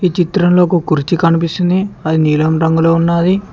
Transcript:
చిత్రంలోకి కురిచి కనిపిస్తుంది అది నీలం రంగులో ఉన్నది.